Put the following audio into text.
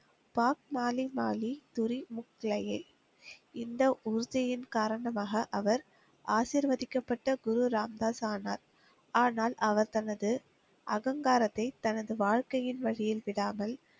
பாக் மாலி மாலி துரி முக் லையே இந்த உறுதியின் காரணமாக அவர் ஆசிர்வதிக்கப்பட்ட குரு ராம் தாஸ் ஆனார். ஆனால், அவர் தனது அகங்காரத்தை தனது வாழ்க்கையின் வழியில் விடாமல்.